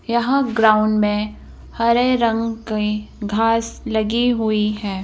यहां ग्राउंड में हरे रंग घास लगी हुई हैं।